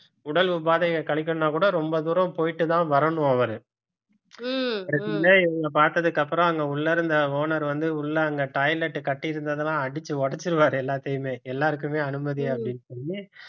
உடல் உபாதையை கழிக்கணும்னா கூட ரொம்ப தூரம் போயிட்டு தான் வரணும் அவரு இவங்கள பாத்ததுக்கு அப்புறம் அங்க உள்ள இருந்த owner வந்து உள்ள அங்க toilet கட்டி இருந்ததெல்லாம் அடிச்சு உடைச்சிருவாரு எல்லாத்தையுமே எல்லாருக்குமே அனுமதி அப்படின்னு சொல்லி